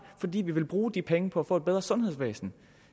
fordi vi vil bruge de penge på at få et bedre sundhedsvæsen